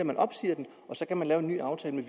man opsiger den og så kan man lave en ny aftale med